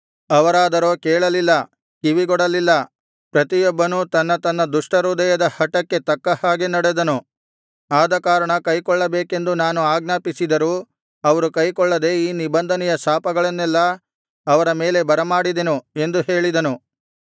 ಅವರಾದರೋ ಕೇಳಲಿಲ್ಲ ಕಿವಿಗೊಡಲಿಲ್ಲ ಪ್ರತಿಯೊಬ್ಬನೂ ತನ್ನ ತನ್ನ ದುಷ್ಟಹೃದಯದ ಹಟಕ್ಕೆ ತಕ್ಕ ಹಾಗೆ ನಡೆದನು ಆದಕಾರಣ ಕೈಕೊಳ್ಳಬೇಕೆಂದು ನಾನು ಆಜ್ಞಾಪಿಸಿದರೂ ಅವರು ಕೈಗೊಳ್ಳದ ಈ ನಿಬಂಧನೆಯ ಶಾಪಗಳನ್ನೆಲ್ಲಾ ಅವರ ಮೇಲೆ ಬರಮಾಡಿದೆನು ಎಂದು ಹೇಳಿದನು